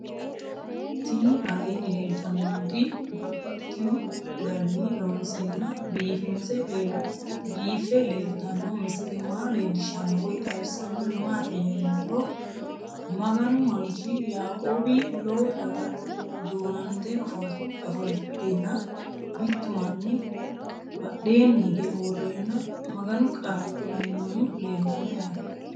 Tinni aleenni leelittannotti babaxxittinno garinni loonseenna biiffe leelittanno misile maa leelishshanno woy xawisannori maattiya yinummoro maganu manchi yaaqowi lowo daga duunante ofolittenna mittu manni badheenni hige uurenna maganu qaale kulanni noohu leelanno yaatte.